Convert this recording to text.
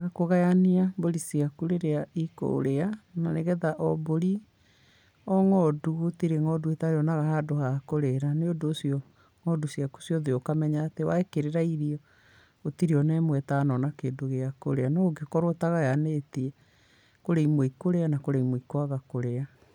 Kũgayania mbũri ciaku rĩrĩa ikũrĩa, na nĩgetha o mbũri, o ng'ondu, gũtirĩ ng'ondu ĩtarĩonaga ha kũrĩra. Nĩũndũ ũcio, ng'ondu ciaku ciothe ũkamenya atĩ wa ĩkĩrĩra irio, gũtirĩ ona ĩmwe ĩtanona kĩndũ gĩa kũrĩa. No ũngĩkorwo ũtagayanĩtie, kũrĩ imwe ikũrĩa, na kũrĩ imwe ikũaga kũria.